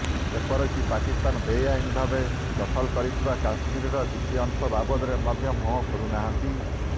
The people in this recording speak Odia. ଏପରକି ପାକିସ୍ତାନ ବେଆଇନ ଭାବେ ଦଖଲ କରିଥିବା କଶ୍ମୀର କିଛି ଅଂଶ ବାବଦରେ ମଧ୍ୟ ମୁହଁ ଖୋଲି ନାହାନ୍ତି